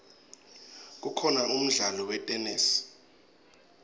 kukhona umdlalo wetenesi